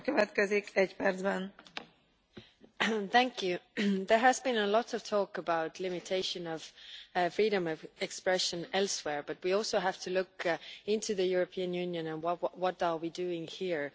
Madam President, there has been a lot of talk about limitation of freedom of expression elsewhere, but we also have to look into the European Union and what are we doing here.